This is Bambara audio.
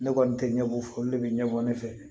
Ne kɔni tɛ ɲɛbɔ fɔ olu de bɛ ɲɛbɔ ne fɛ